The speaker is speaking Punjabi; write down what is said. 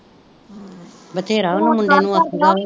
ਬਥੇਰਾ ਉਹਨੂੰ ਮੁੰਡੇ ਨੂੰ ਆਖੀ ਦਾ ਵਾ